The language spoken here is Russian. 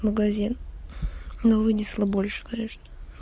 магазин но вынесла больше конечно